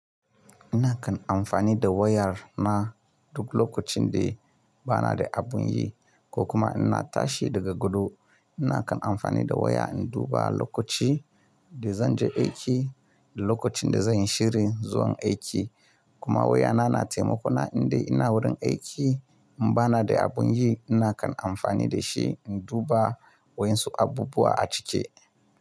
Ina kan amfani da wayar na duk lokacin da bana da abin yi ko kuma ina tashi daga godo. Ina kan amfani da waya in duba lokaci da zan je aiki da lokacin da zan yi shirin zuwan aiki. Kuma waya na, na taimakona indai ina wurin aiki in bana da abin yi. Ina kan amfani da shi in duba wasu abubuwa a ciki.